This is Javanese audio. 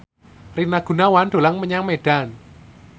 Rina Gunawan dolan menyang Medan